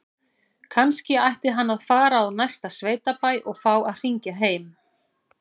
Kannski ætti hann að fara á næsta sveitabæ og fá að hringja heim?